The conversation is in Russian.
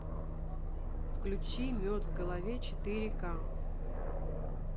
включи мед в голове четыре ка